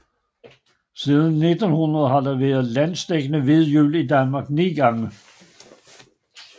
Siden 1900 har der været landsdækkende hvid jul i Danmark ni gange